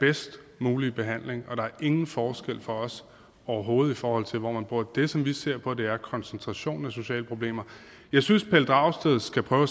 bedst mulige behandling der er ingen forskel for os overhovedet forhold til hvor man bor det som vi ser på er koncentrationen af sociale problemer jeg synes pelle dragsted skal prøve at